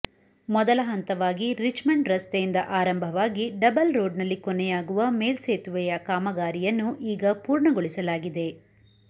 ಮೊದಲ ಹಂತವಾಗಿ ರಿಚ್ಮಂಡ್ ರಸ್ತೆಯಿಂದ ಆರಂಭವಾಗಿ ಡಬಲ್ ರೋಡ್ನಲ್ಲಿ ಕೊನೆಯಾಗುವ ಮೇಲ್ಸೇತುವೆಯ ಕಾಮಗಾರಿಯನ್ನು ಈಗ ಪೂರ್ಣಗೊಳಿಸಲಾಗಿದೆ